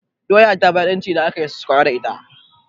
Doya ta fi daɗin ci idan aka yi sakwara da ita.